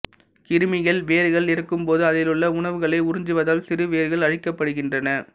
கிருமிகள் வேர்கள் இறக்கும்போது அதிலுள்ள உணவுகளை உறிஞ்சுவதால் சிறு வேர்கள் அழிக்கப்படுகின்றன